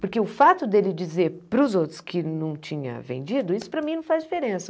Porque o fato dele dizer para os outros que não tinha vendido, isso para mim não faz diferença.